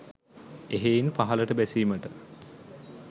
එහෙයින් පහළට බැසීමට